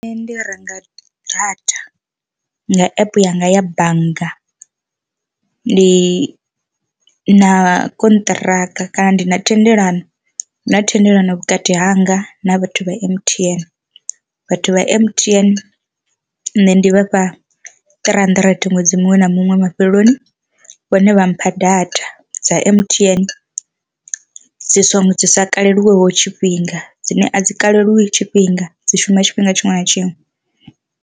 Nṋe ndi renga data nga app yanga ya bannga, ndi na konṱhiraka kana ndi na thendelano na thendelano vhukati hanga na vhathu vha M_T_N, vhathu vha M_T_N nṋe ndi vhafha three handirente ṅwedzi muṅwe na muṅwe mafheleloni vhone vha mpha data dza M_T_N dzi songo dzi sa kaleliwa ho tshifhinga dzine a dzi kalelwa tshifhinga dzi shuma tshifhinga tshiṅwe na tshiṅwe.